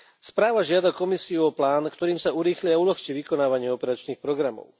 Správa žiada Komisiu o plán, ktorým sa urýchli aj uľahčí vykonávanie operačných programov.